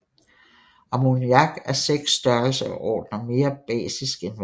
Ammoniak er 6 størrelsesordener mere basisk end vand